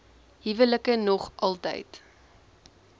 huwelike nog altyd